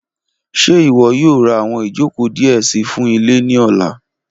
Ṣe iwọ yoo ra awọn ijoko diẹ sii fun ile ni ọla?